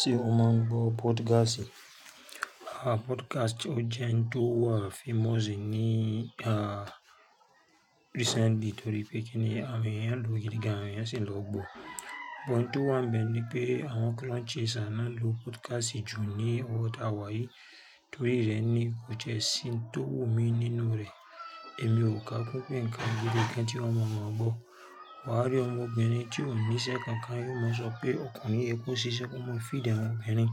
Ṣe o mọ n gbọ podcast? Podcast o jẹ n tò wá famous ní recently tórí pé kíni àwọn eeyan n lo gidigan àwọn eeyan n sì lọ gbọ. But ohun tó wà ńbẹ̀ ní pé àwọn clout chaser ná ń lo podcast jù ní ọwọ́ táa wà yìí. Torí rẹ̀ ní kò tiẹ̀ sí n tó wù mí nínú rẹ̀. Èmi ò kàá kún nǹkan gidi kan tí ọmọ máa gbọ́. Wà á rí ọmọbìnrin tí ò ńíṣẹ́ kankan yóò máa sọ pé ọkùnrin yẹ kó ṣiṣẹ́ kí ó máa feed àwọn obìnrin.